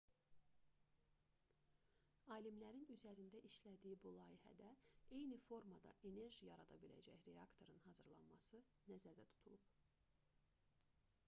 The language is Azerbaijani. alimlərin üzərində işlədiyi bu layihədə eyni formada enerji yarada biləcək reaktorun hazırlanması nəzərdə tutulub